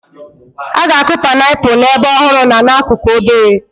A ga-akụ painiapulu n'ebe ọhụrụ na n'akụkụ obere.